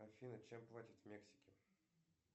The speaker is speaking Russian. афина чем платят в мексике